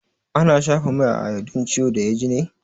Ana shafa mai iodine a ciwon da ya ji ne?